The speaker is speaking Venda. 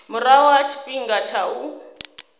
murahu ha tshifhinga tsha u